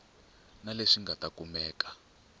na leswi nga ta kumeka